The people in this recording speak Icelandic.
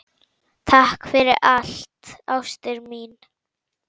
Það tókst að miklu leyti.